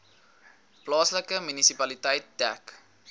plaaslike munisipaliteit dek